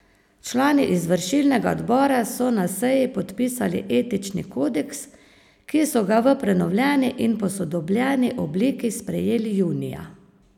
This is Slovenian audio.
Člani izvršilnega odbora so na seji podpisali etični kodeks, ki so ga v prenovljeni in posodobljeni obliki sprejeli junija.